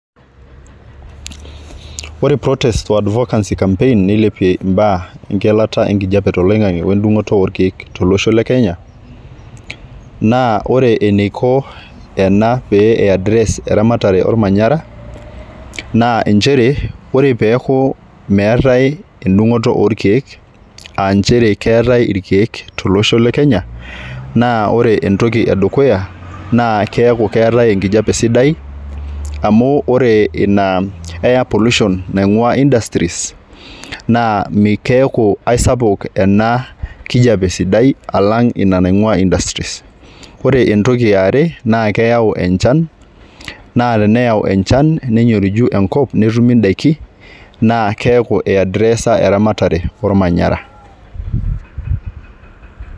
Ore protest o advocacy campaign nilepie imbaa engeleta enkijape toloingange wendungoto orkiek tolosho lekenya naa ore eneiko ena pee eaddress eramatare ormanyara naa nchere ore peku meetae edungoto orkiek aachere keetae irkiek tolosho lekenya naa ore entoki edukuya naa keku keetae enkijape sidai amu ore ina air pollution naingwaa industries naa mi naa keaku aisapuk enakijape sidai alang ina naingwaa industries . Ore entoki eare naa keyau enchan naa teneyau enchan nenyoriju enkop netumi indaiki naa keaku iaddresa ermatare ormanyara.